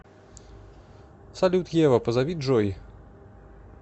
салют ева позови джой